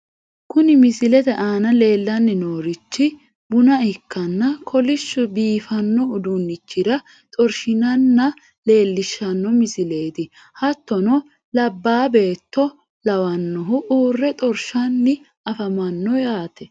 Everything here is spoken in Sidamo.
Kuni misilete aana leellanni noorichi buna ikkanna kolishshu biifanno uduunnichira xorshinanna leellishshanno misileeti, hattono labbaa beetto lawannohu uurre xorshanni afamanno yaate.